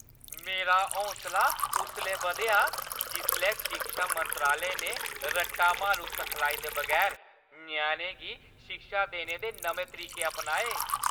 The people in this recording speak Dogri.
मेरा हौसला उसलै बधेआ जिसलै शिक्षा मंत्रालय ने रट्टा मारू सखलाई दे बगैर ञ्याणें गी शिक्षा देने दे नमें तरीके अपनाए।